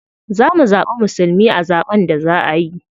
Za mu zaɓi musulmi a zaɓen da za a yi.